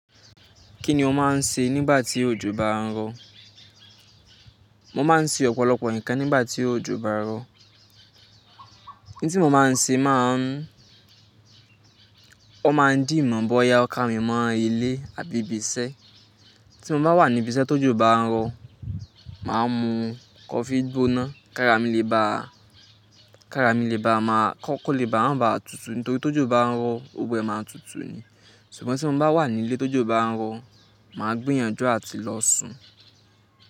Kí ni o máa ń ṣe nígbà tí òjò bá ń rọ̀? Mo máa ń ṣe ọ̀pọ̀lọpọ̀ nǹkan nígbà tí òjò bá ń rọ̀. N tí mo máa ń ṣe? Maa n. Wọn máa ń dì mọ̀ bọ́ya o ká mi mọ ilé àbí ibi iṣẹ́. Tí mo bá wà ní ibi iṣẹ́ tó jò bá ń rọ, màá mu coffee gbóná, kára mi lè bá, kára mi lè bá máa kọ́kọ́ lè bá ma baà tutù nítorí tó jó bá ń rọ, gbogbo ẹ̀ máa n tutù ni. Ṣùgbọ́n tí mo bá wà ní ilé tó jó bá ń rọ, màá gbéyànjú àti lọ sùn.